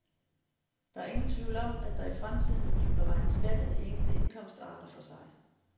Der er ingen tvivl om, at der i fremtiden vil blive beregnet skat af de enkelte indkomstarter for sig.